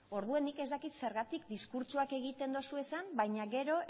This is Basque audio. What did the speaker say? orduan nik ez dakit zergatik diskurtsoak egiten dituzuen baina gero